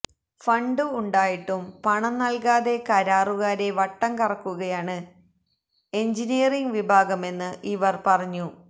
fund ഉണ്ടായിട്ടും പണം നൽകാതെ കരാറുകാരെ വട്ടം കറക്കുകയാണ് എഞ്ചിനീയറിംഗ് വിഭാഗമെന്ന് ഇവർ പറഞ്ഞു